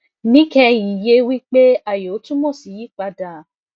níkẹyìn ye wipe ayo tumo si yipada